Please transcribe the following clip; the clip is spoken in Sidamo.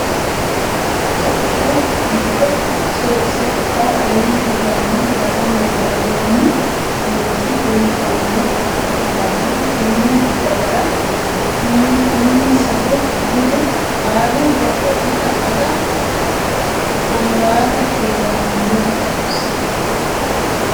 Tophiyu giddo setayo aleeni higgano daganna dagoomi nooti anfummotta ikkittanna tene dagara uminsahu budu qaalu wodho itta agate amurati heeranonsa